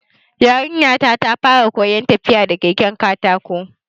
Yarinya ta fara koyan tafiya da keken katako